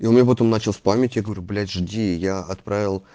и он её потом начал в памяти я говорю блять жди я отправил